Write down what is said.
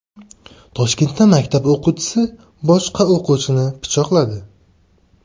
Toshkentda maktab o‘quvchisi boshqa o‘quvchini pichoqladi.